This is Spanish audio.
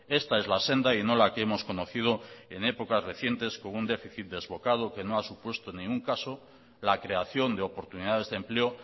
esta es la senda y no la que hemos conocido en épocas recientes con un déficit desbocado que no ha supuesto en ningún caso la creación de oportunidades de empleo